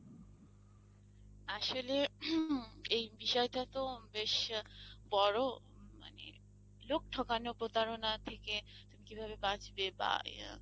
আসলে এই বিষয়টা তো বেশ বড় মানে লোক ঠকানো প্রতারণা থেকে তুমি কিভাবে বাঁচবে।